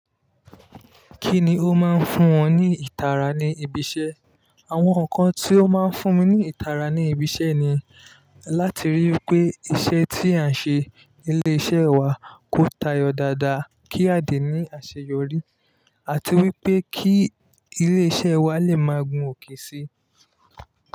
Kí ni o máa ń fún wọn ní ìtara ní ibi iṣẹ́? Àwọn nǹkan tí ó máa ń fún mi ní ìtara ní ibi iṣẹ́ ni láti rí i pé iṣẹ́ tí à ń ṣe nílé iṣẹ́ wa kó ta yọ dáadáa kí a lè ní àṣeyọrí àti wípé kí ilé iṣẹ́ wa lè máa gun òkè si.